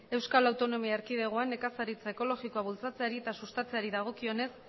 euskal autonomia erkidegoan nekazaritza ekologikoa bultzatzeari eta sustatzeari dagokienez